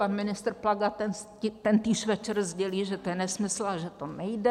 Pan ministr Plaga tentýž večer sdělí, že to je nesmysl a že to nejde.